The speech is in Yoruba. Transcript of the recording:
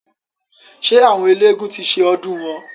Ṣé àwọn eélégún ti ṣe ọdùn wọn?